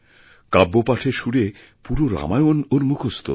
কাব্যপাঠের সুরে পুরো রামায়ণ ওর মুখস্থ